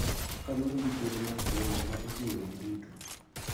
Kaluwore gi thuolo mar somo ma oting�o ji duto.